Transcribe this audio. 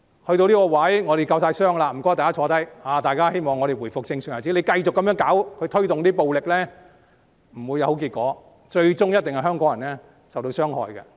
事情發展至今，我們已經夠傷了，請大家坐下來，大家都希望回復正常日子，繼續這樣推動暴力，不會有好結果，最終受傷害的一定是香港人。